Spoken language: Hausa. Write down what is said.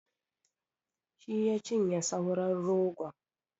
Shi ya cinye sauran rogon.